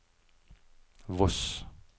Voss